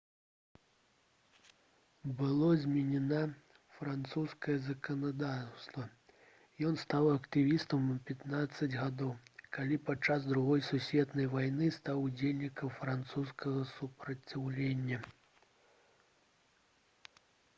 было зменена французскае заканадаўства ён стаў актывістам у 15 гадоў калі падчас другой сусветнай вайны стаў удзельнікам французскага супраціўлення